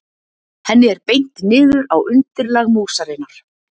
Henni er beint niður á undirlag músarinnar.